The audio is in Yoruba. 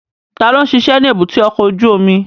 Ta ló ń ṣiṣẹ́ ní èbúté ọkọ̀ ojú omi?